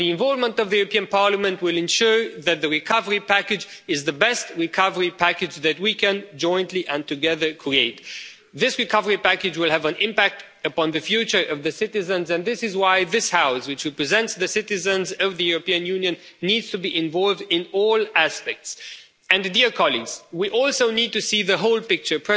paid back. The involvement of the European Parliament will ensure that the recovery package is the best recovery package that we can jointly and together create. This recovery package will have an impact upon the future of the citizens, and this is why this House, which represents the citizens of the European Union, needs to be involved in all aspects. We also need to see the whole